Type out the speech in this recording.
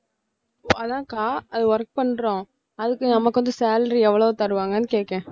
அதான்க்கா அது work பண்றோம் அதுக்கு நமக்கு வந்து salary எவ்வளவு தருவாங்கனு கேட்கிறேன